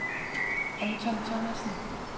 Anton Thomasen